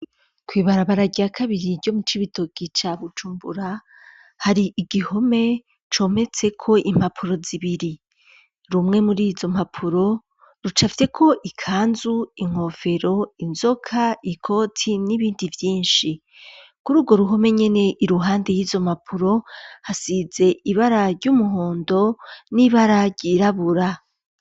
Kwibarabararya kabiri ryo mu c'ibitoki ca bucumbura hari igihome cometseko impapuro zibiri rumwe muri izo mapuro ruca avyeko ikanzu inkofero inzoka ikoti n'ibindi vyinshi kuri urwo ruhome nyene i ruhande y'izo mapuro zize ibara ry'umuhondo n'ibararyirabura.